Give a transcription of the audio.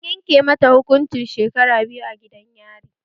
An yanke mata hukuncin shekara biyu a gidan yari